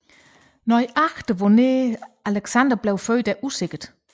Nøjagtigt hvornår Alexander blev født er usikkert